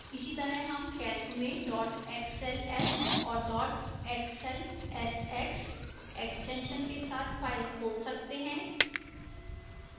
इसी तरह हम calc में dot xls और dot xlsx extensions के साथ files खोल सकते हैं